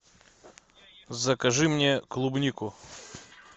закажи мне клубнику